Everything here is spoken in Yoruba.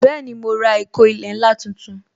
Bẹẹni, mo ra ìkó ilẹ̀ ńlá tuntun